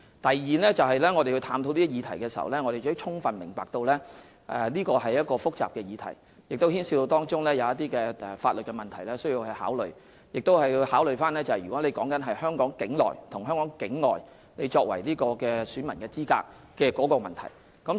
第二，當我們探討這項議題時，我們充分明白到這是複雜的議題，當中牽涉到一些必須考慮的法律問題，而我們亦要考慮個別人士在香港境內與香港境外作為選民資格的問題。